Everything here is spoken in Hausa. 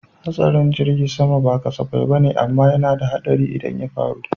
Haɗarin jirgin sama ba kasafai bane amma yana da haɗari idan ya faru